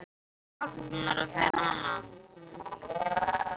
Getið þið hjálpað mér að finna hana?